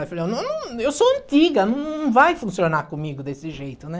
Eu falei, eu sou antiga, não vai funcionar comigo desse jeito, né?